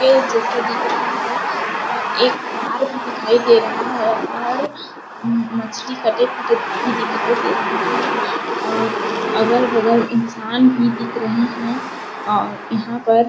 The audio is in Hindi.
ए जैसा दिख रहा है और एक तार भी दिखाई दे रहा है और मछली कटे -फटे भी दिखाई दे रहे है और अगल-बगल इंसान भी दिख रहे है और यहाँ पर-- .